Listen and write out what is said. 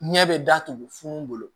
Ɲɛ bɛ datugu funun bolo